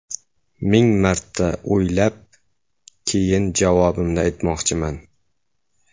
Ming marta o‘ylab, keyin javobimni aytmoqchiman.